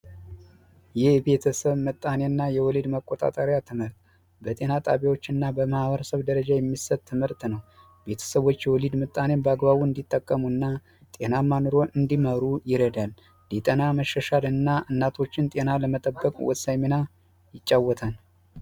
የቤተሰብ ምጣኔና የወሊድ መቆጣጠሪያ ትምህር ት በጤና ጣቢያዎችና በማህበረሰብ ደረጃ የሚሰጥ ትምህርት ነው በአግባቡ እንዲጠቀሙና ጤናማ እንዲመሩ ይረዳል ለጠና መሸሻ እና እናቶችን ጤና ለመጠበቁ ወሳኝ ሚና ይጫወታል